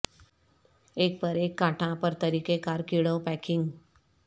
ایک پر ایک کانٹا پر طریقہ کار کیڑوں پیکنگ